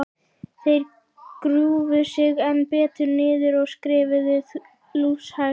Þeir grúfðu sig enn betur niður og skriðu lúshægt áfram.